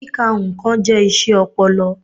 Kíka nnkàn jẹ́ iṣẹ́ ọpọlọ.